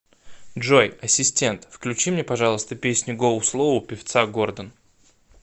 джой ассистент включи мне пожалуйста песню гоу слоу певца гордон